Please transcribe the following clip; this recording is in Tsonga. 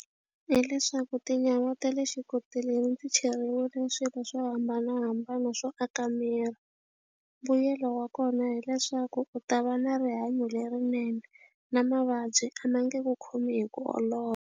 Hileswaku tinyawa ta le xikoteleni ti cheriwile swilo swo hambanahambana swo aka miri. Mbuyelo wa kona hileswaku u ta va na rihanyo lerinene na mavabyi a ma nge ku khomi hi ku olova.